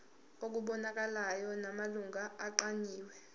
okubonakalayo namalungu aqanjiwe